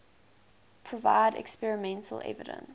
provide experimental evidence